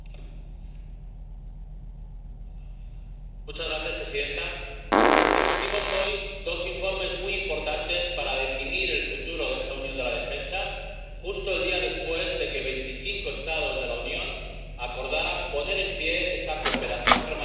Señora presidenta. Discutimos hoy dos informes muy importantes para definir el futuro de esa unión de la defensa, justo el día después de que veinticinco Estados de la Unión acordaran poner en pie esa cooperación permanente con el liderazgo de la alta representante, la señora Mogherini.